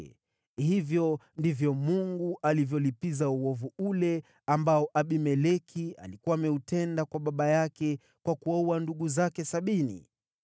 Hivyo ndivyo Mungu alivyolipiza uovu ule ambao Abimeleki alikuwa ameutenda kwa baba yake kwa kuwaua ndugu zake sabini.